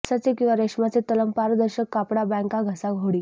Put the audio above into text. कापसाचे किंवा रेशमाचे तलम पारदर्शक कापड बँका घसा होडी